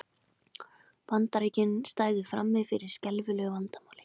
Bandaríkin stæðu frammi fyrir skelfilegu vandamáli